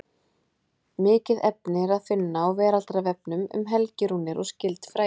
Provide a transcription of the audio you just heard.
Mikið efni er að finna á Veraldarvefnum um helgirúnir og skyld fræði.